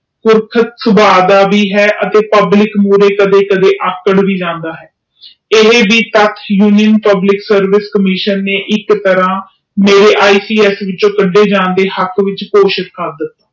ਸੁਬਹ ਦਾ ਵੀ ਹੈ ਅਤੇ ਪੁਬ੍ਲਿਕ ਅਗੇ ਕੱਢ ਕਦੇ ਅਕਰਡ ਵੀ ਜਾਂਦਾ ਆ ਇਹ ਵੀ ਮੇਨੂ ਇਕ ਤ੍ਰਾਹ ਈ ਪ ਇਸ ਵਿੱਚੋ ਕਦੇ ਜਾਨ ਦੇ ਹਕ਼ ਵਿੱਚੋ ਪੋਸ਼ਣ ਕਰ ਦਿਤਾ